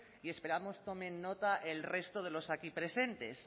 y esperamos tomen nota el resto de los aquí presentes